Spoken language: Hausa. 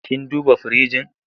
Kin duba firinji?